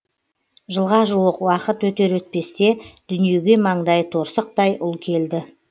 жылға жуық уақыт өтер өтпесте дүниеге маңдайы торсықтай ұл келді